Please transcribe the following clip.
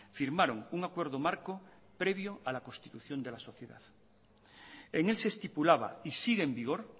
firmaron un acuerdo marco previo a la constitución de la sociedad en él se estipulaba y sigue en vigor